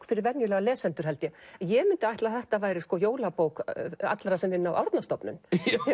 fyrir venjulega lesendur held ég ég mundi ætla að þetta væri jólabók allra sem vinna á Árnastofnun